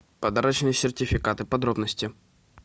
подарочные сертификаты подробности